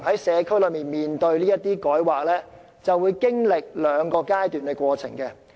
社區面對這類改劃，通常會經歷兩個階段。